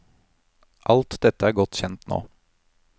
Alt dette er godt kjent nå.